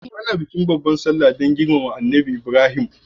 Ana yin bikin babbar salla ne don girmama Annabi Ibrahim.